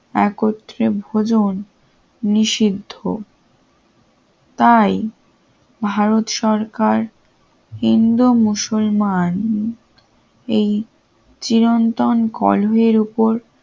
একত্রে ভোজন নিষিদ্ধ তাই ভারত সরকার হিন্দু মুসলমান এই চিরন্তন কলয়ের উপর